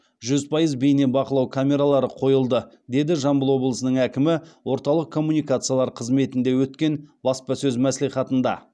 жүз пайыз кейнебақылау камералары қойылды деді жамбыл обылысының әкімі орталық коммуникациялар қызметінде өткен баспасөз мәслихатында